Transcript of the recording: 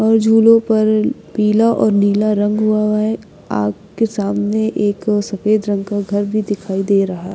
और झूलों पर पीला और नीला रंग हुआ है आग के सामने एक सफेद रंग का घर भी दिखाई दे रहा--